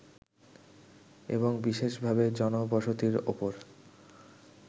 এবং বিশেষভাবে জনবসতির ওপর